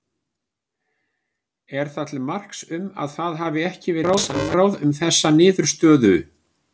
Er það til marks um að það hafi ekki verið samráð um þessa niðurstöðum?